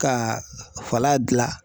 Ka fala gilan.